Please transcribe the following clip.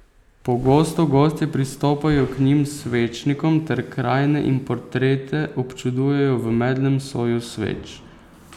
Pogosto gostje pristopajo k njim s svečnikom ter krajine in portrete občudujejo v medlem soju sveč.